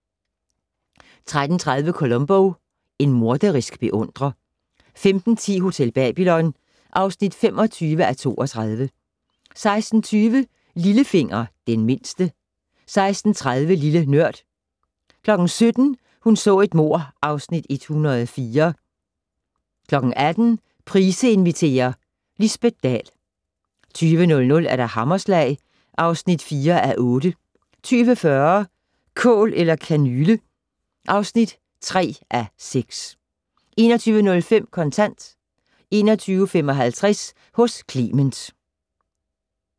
13:30: Columbo: En morderisk beundrer 15:10: Hotel Babylon (25:32) 16:20: Lillefinger - Den mindste 16:30: Lille Nørd 17:00: Hun så et mord (Afs. 104) 18:00: Price inviterer - Lisbet Dahl 20:00: Hammerslag (4:8) 20:40: Kål eller kanyle (3:6) 21:05: Kontant 21:55: Hos Clement